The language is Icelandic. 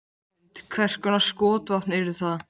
Hrund: Hvers konar skotvopn yrðu það?